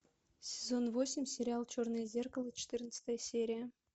сезон восемь сериал черное зеркало четырнадцатая серия